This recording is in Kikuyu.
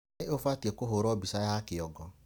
Nĩ ũbatiĩ kũhũrwo bica ya kĩongo.